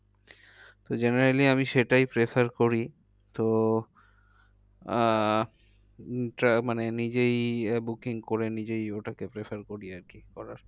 তো generally আমি সেটাই prefer করি তো আহ উম মানে নিজেই আহ booking করে নিজেই ওটাকে prefer করি আর কি করার।